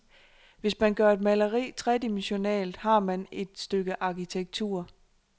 Hvis man gør et maleri tredimensionalt, har man et stykke arkitektur.